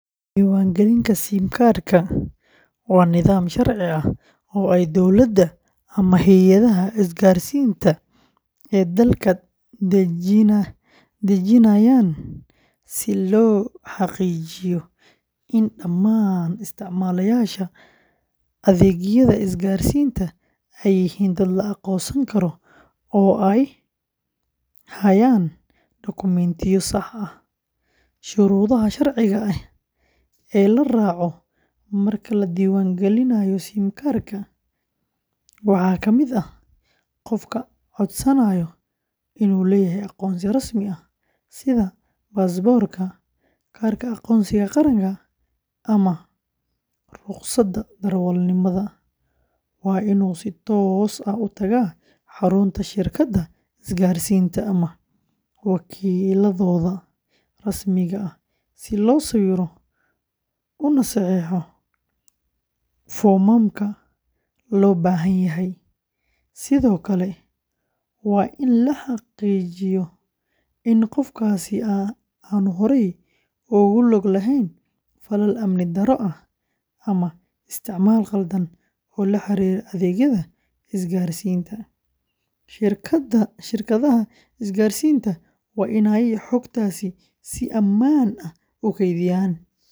Diiwaangelinta SIM card-ka waa nidaam sharci ah oo ay dawladda ama hay’adaha isgaarsiinta ee dalka dejinayaan si loo xaqiijiyo in dhammaan isticmaalayaasha adeegyada isgaarsiinta ay yihiin dad la aqoonsan karo oo ay hayaan dukumentiyo sax ah. Shuruudaha sharciga ah ee la raaco marka la diiwaangelinayo SIM card-ka waxaa ka mid ah: qofka codsanaya inuu leeyahay aqoonsi rasmi ah sida baasaboorka, kaarka aqoonsiga qaranka ama ruqsadda darawalnimada; waa inuu si toos ah u tagaa xarunta shirkadda isgaarsiinta ama wakiilladooda rasmiga ah si loo sawiro una saxiixo foomamka loo baahan yahay; sidoo kale waa in la xaqiijiyo in qofkaasi aanu horey ugu lug lahayn falal amni darro ah ama isticmaal khaldan oo la xiriira adeegyada isgaarsiinta. Shirkadaha isgaarsiinta waa inay xogtaasi si ammaan ah u kaydiyaan.